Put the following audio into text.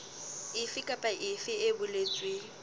efe kapa efe e boletsweng